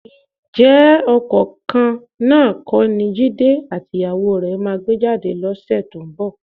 Ǹjẹ́ ọkọ̀ kan náà kọ́ ni Jídé àtìyàwó rẹ máa gbé jáde lọ́sẹ̀ tó ń bọ̀?